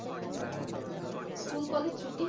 school college ছুটি,